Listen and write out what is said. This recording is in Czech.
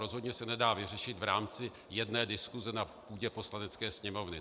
Rozhodně se nedá vyřešit v rámci jedné diskuse na půdě Poslanecké sněmovny.